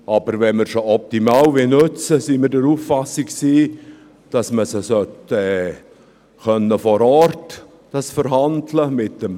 Aber wenn wir sie optimal nutzen wollen, sind wir der Auffassung, dass man dies mit dem Personal vor Ort verhandeln können sollte.